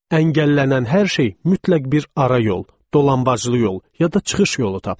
Əngəllənən hər şey mütləq bir ara yol, dolanbaclı yol, ya da çıxış yolu tapırdı.